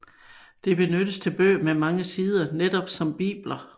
Det benyttes til bøger med mange sider som netop bibler